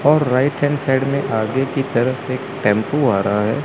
और right hand side में आगे की तरफ से एक टेंपो आ रहा है।